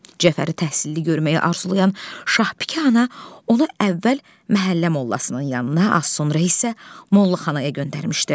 Cəfəri təhsilli görməyi arzulayan Şahbikə ana, ona əvvəl məhəllə mollasının yanına, az sonra isə mollaxanaya göndərmişdi.